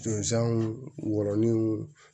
wɔrɔnin